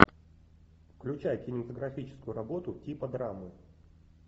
включай кинематографическую работу типа драмы